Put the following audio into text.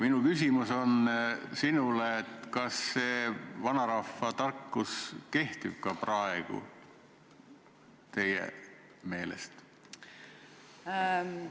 Minu küsimus on: kas see vanarahva tarkus kehtib ka praegu teie meelest?